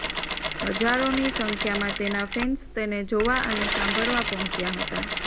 હજારોની સંખ્યામાં તેના ફેન્સ તેને જોવા અને સાંભળવા પહોંચ્યા હતા